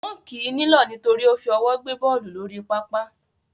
Wọ́n kì í nílọ̀ nítorí ó fi ọwọ́ gbé bọ́ọ̀lù lórí pápá